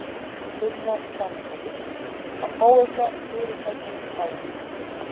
Sunna Sæmundsdóttir: Að fá eitthvað fyrirtæki í bæinn?